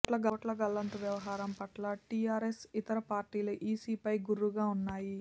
ఓట్ల గల్లంతు వ్యవహారం పట్ల టీఆర్ఎస్యేతర పార్టీలు ఈసీపై గుర్రుగా ఉన్నాయి